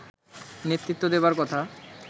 নেতৃত্ব দেবার কথা